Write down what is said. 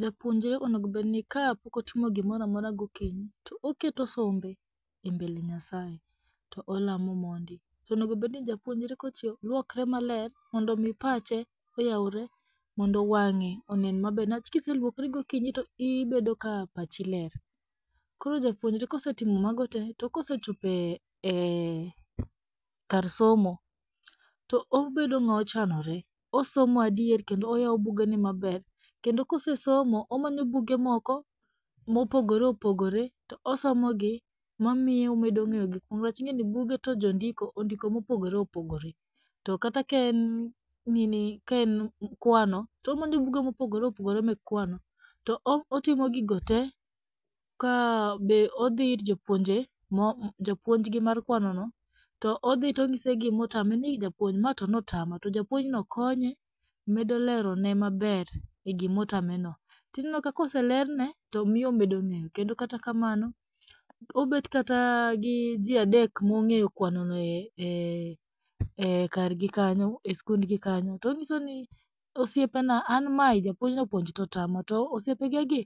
Japuonjre onego obedni ka pokotimo gimoramora gokinyi to oketo sombe e mbele Nyasaye, to olamo mondi, to onegobedni japuonjre kochieo lwokre maler mondomi pache oyawre mondo wang'e onen maber niwach kiselwokri gokinyi to ibedo ka pachi ler, koro japuonjre kosetimo mago tee to kosechopo e ee kar somo, to obedo ng'a ochanore, osomo adier kendo oyawo bugene maber kendo kosesomo, omanyo buge moko mopogoreopogore to osomogi, mamiye omedo ng'eyo gikmoko niwach ing'eni buge to jondiko ondiko mopogore opogore, to kata kaen nini kaen kwano to omanyo buge mopogoreopogore mek kwano to otimo gigo tee, ka be odhii ir jopwonje mo japuonjgi mar kwanono to odhii to onyise gimotame ni "Ei japuonj mae to notama", to japuonjno konye, medo lerone maber e gimotameno , to inenoka koselerne to miyo omedo ng'eyo, kendo kata kamano, obet kata gi jii adek mong'eyo kwanono kagi kanyo e skundgi kanyo, to onyisogi ni "Osiepena an mae japuonj nopuonjo to otama", to osiepegegi